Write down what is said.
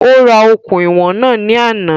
Ó ra okùn ìwọ̀n náà ní àná